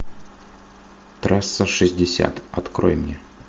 трасса шестьдесят открой мне